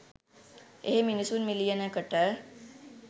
එහෙ මිනිසුන් මිලියන . කට